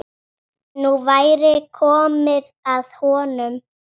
Nú væri komið að honum.